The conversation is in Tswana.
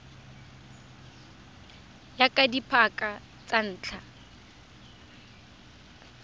ya ka dipaka tsa ntlha